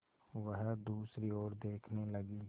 वह दूसरी ओर देखने लगी